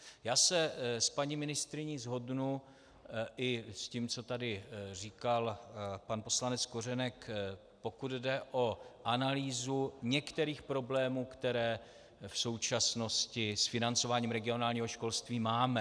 Já se s paní ministryní shodnu, i s tím, co tady říkal pan poslanec Kořenek, pokud jde o analýzu některých problémů, které v současnosti s financováním regionálního školství máme.